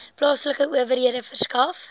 plaaslike owerhede verskaf